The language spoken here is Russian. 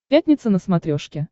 пятница на смотрешке